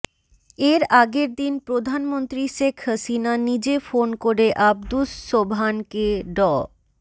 এর আগের দিন প্রধানমন্ত্রী শেখ হাসিনা নিজে ফোন করে আব্দুস সোবহানকে ড